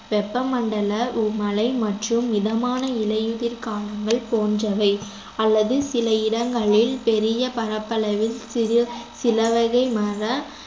வெப்பமண்டல மழை மற்றும் மிதமான இலையுதிர் காடுகள் போன்றவை அல்லது சில இடங்களில் பெரிய பரப்பளவில் சிறு சிலவகை மர